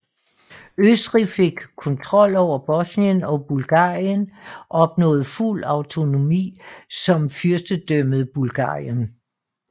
Østrig fik kontrol over Bosnien og Bulgarien opnåede fuld autonomi som Fyrstendømmet Bulgarien